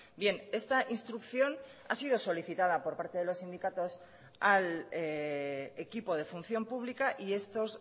bien esta instrucción ha sido solicitada por parte de los sindicatos al equipo de función pública y estos